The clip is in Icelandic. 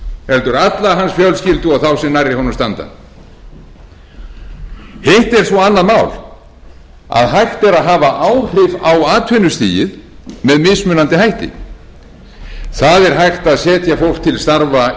heldur alla hans fjölskyldu og þá sem nærri honum standa hitt er svo annað mál að hægt er að hafa áhrif á atvinnustigið með mismunandi hætti það er hægt að setja fólk til starfa